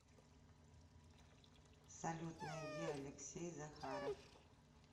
салют найди алексей захаров